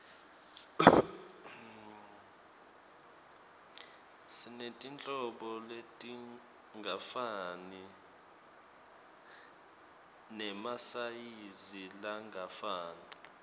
sinetinhlobo letingafani nemasayizi langafani